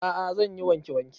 A'a zan yi wanke wanke